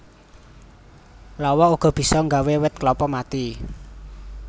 Lawa uga bisa nggawé wit klapa mati